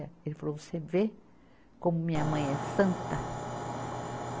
Ele falou, você vê como minha mãe é santa?